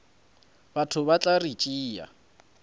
batho ba tla re tšea